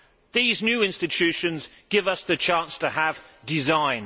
These new institutions give us the chance to have design.